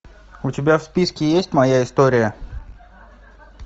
у тебя в списке есть моя история